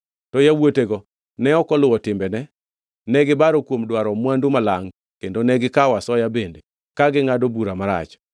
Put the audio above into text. To yawuotego ne ok oluwo timbene. Ne gibaro kuom dwaro mwandu malangʼ kendo ka gikawo asoya bende ka gingʼado bura marach.